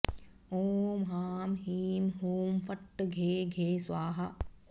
ॐ ह्रां ह्रीं ह्रूं फट् घे घे स्वाहा